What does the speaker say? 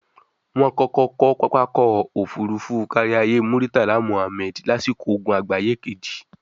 wọ́n kọ́kọ́ kọ́ pápá Ọkọ̀ Òfurufú Káríayé Múrítàlá Mùhammẹ̀d lásìkò ogun àgbáyé kejì